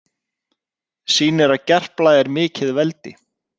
Sýnir að Gerpla er mikið veldi